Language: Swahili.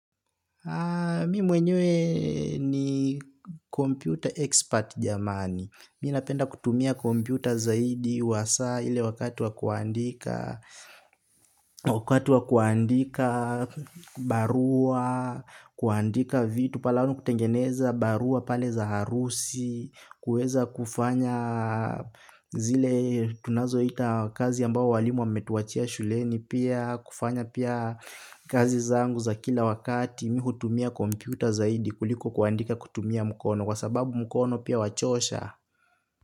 Mimi mwenye ni computer expert jamani. Mimi napenda kutumia computer zaidi wasa ile wakati wa kuandika, wakati wa kuandika, barua, kuandika vitu, pale kutengeneza barua pale za harusi, kueza kufanya zile tunazo ita kazi ambayo walimu wametuachia shuleni pia, kufanya pia kazi zangu za kila wakati. Mimi hutumia kompyuta zaidi kuliko kuandika kutumia mkono kwa sababu mukono pia wachosha.